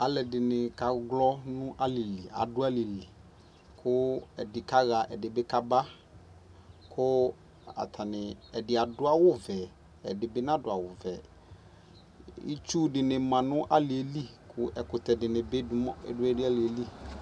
Aaluɛdi kaɣlɔ nʋ aalili aaɖʋ aalili Ku ɛɖi kaɣa kɛdikaba Ku atanii ɛɖi aɖʋ awu vɛ, ɛɖibi naɖʋ awu vɛiitsu ɖinibi ma nu aliɛli Ku ɛkʋtɛbi ɖu aliɛli